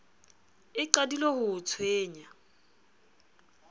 e qadile ho o tshwenya